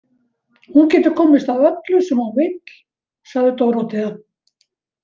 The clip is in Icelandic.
Hún getur komist að öllu sem hún vill, sagði Dórótea.